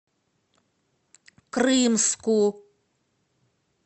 крымску